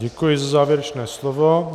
Děkuji za závěrečné slovo.